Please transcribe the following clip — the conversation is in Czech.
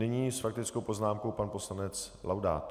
Nyní s faktickou poznámkou pan poslanec Laudát.